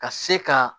Ka se ka